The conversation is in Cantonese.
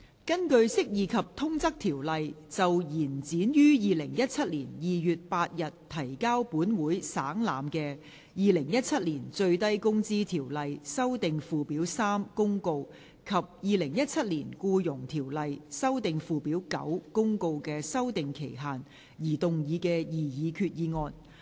根據《釋義及通則條例》就延展於2017年2月8日提交本會省覽的《2017年最低工資條例公告》及《2017年僱傭條例公告》的修訂期限而動議的擬議決議案。